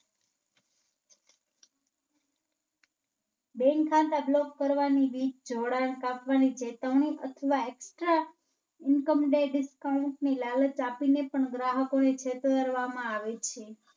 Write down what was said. Bank ખાતા Block કરવાની રીત, જોડાણ કાપવની pattern અથવા Extra income day Discount ની લાલચ આપી ને પણ ગ્રાહકો ને છેતરવા માં આવે છે.